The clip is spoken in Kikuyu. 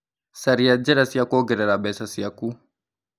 Caria njĩra cia kuongerera mbeca ciaku.